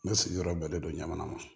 N bɛ sigiyɔrɔ bɛn don ɲamana ma